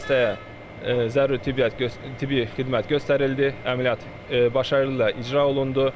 Xəstəyə zəruri tibbi xidmət göstərildi, əməliyyat başarılı ilə icra olundu.